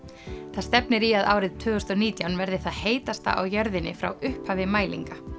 það stefnir í að árið tvö þúsund og nítján verði það heitasta á jörðinni frá upphafi mælinga